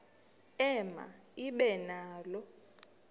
ema ibe nalo